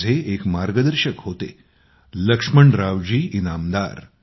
माझे एक मार्गदर्शक होतेलक्ष्मणराव जी इनामदार